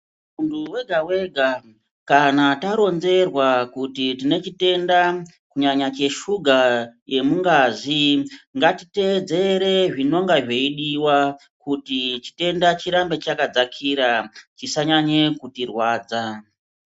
Muntu wega-wega kana taronzerwa kuti tine chitenda kunyanya cheshuga yemungazi. Ngatitedzere zvinonga zveidiva kuti chitenda chirambe chakadzakira chisanyanye kuti rwadza.